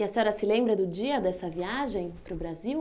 E a senhora se lembra do dia dessa viagem para o Brasil?